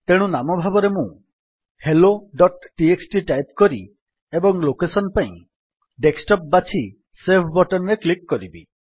ତେଣୁ ନାମ ଭାବରେ ମୁଁ helloଟିଏକ୍ସଟି ଟାଇପ୍ କରି ଓ ଲୋକେଶନ୍ ପାଇଁ ଡେସ୍କଟପ୍ ବାଛି ସେଭ୍ ବଟନ୍ ରେ କ୍ଲିକ୍ କରିବି